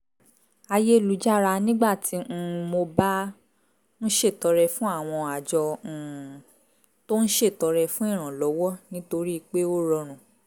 ayélujára nígbà tí um mo bá ń ṣètọrẹ fún àwọn àjọ um tó ń ṣètọrẹ fún ìrànlọ́wọ́ nítorí pé ó rọrùn